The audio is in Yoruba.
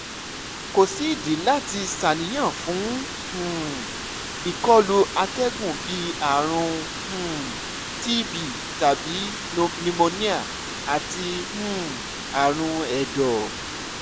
ko si idi lati ṣàníyàn fun um ikolu atẹgun bii arun um tb tabi pneumonia ati um aarun ẹdọ